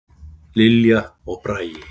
Lilja og Bragi.